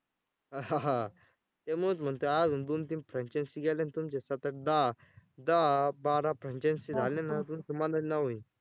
त्यामुळंच म्हणतोय अजून दोन तीन franchise गेल्या ना तुमच्या सात आठ दहा दहा बारा franchise झाले ना तुमचं नाव होईल.